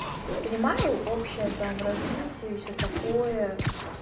понимаю общее там развитие и всё такое